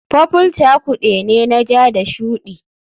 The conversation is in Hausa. Purple cakude ne na ja da shuɗi